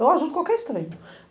Eu ajudo qualquer estranho.